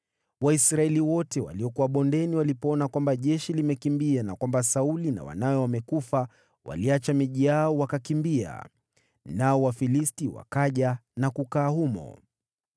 Waisraeli wote waliokuwa bondeni walipoona kwamba jeshi limekimbia na kwamba Sauli na wanawe wamekufa, waliacha miji yao wakakimbia. Nao Wafilisti wakaja na kukaa humo.